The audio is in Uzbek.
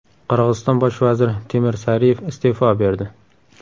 Qirg‘iziston bosh vaziri Temir Sariyev iste’fo berdi.